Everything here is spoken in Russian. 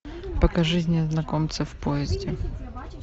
покажи незнакомцы в поезде